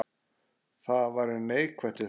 Hvað væri neikvætt við þetta?